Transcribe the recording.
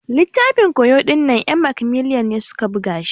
Littafin ƙoyo dinnan en macmillan ne suƙa ɓuga shi.